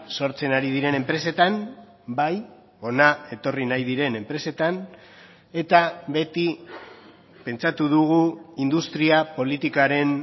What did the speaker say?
sortzen ari diren enpresetan bai hona etorri nahi diren enpresetan eta beti pentsatu dugu industria politikaren